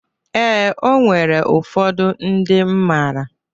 Ee, o nwere ụfọdụ ndịm mara.